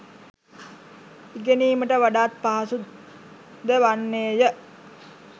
ඉගෙනීමට වඩාත් පහසු ද වන්නේ ය.